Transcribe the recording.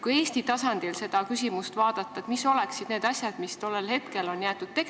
Kui Eesti tasandil seda küsimust vaadata, siis mis oleksid need asjad, mis tollel hetkel tegemata jäeti?